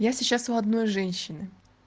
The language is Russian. я сейчас у одной женщины